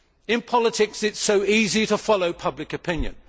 In politics, it is so easy to follow public opinion.